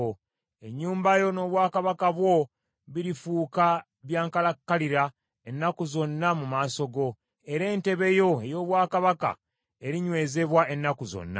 Ennyumba yo n’obwakabaka bwo birifuuka bya nkalakkalira ennaku zonna mu maaso gange, era entebe yo ey’obwakabaka erinywezebwa ennaku zonna.” ’”